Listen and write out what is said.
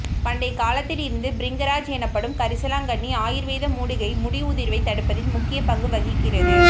பண்டைய காலத்தில் இருந்து பிரிங்கராஜ் எனப்படும் கரிசலாங்கன்னி ஆயுர்வேத மூலிகை முடி உதிர்வை தடுப்பதில் முக்கிய பங்கு வகிக்கிறது